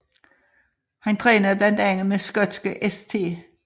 Han trænede blandt andet med i skotske St